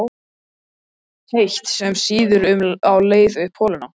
heitt, sem sýður á leið upp holuna.